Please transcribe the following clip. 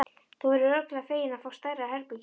Þú verður örugglega feginn að fá stærra herbergi.